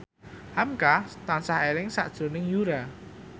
hamka tansah eling sakjroning Yura